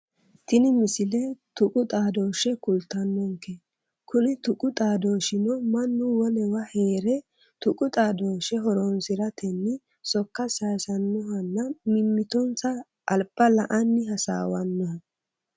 Tini misile tuqu xaadooshshe kultannonke kuni tuqu xaadooshshino mannu wolewa heere tuqu xaadooshshe horonsiratenni sokka sayiisannohonna mimmitonsa alba la"anni hasaawannoho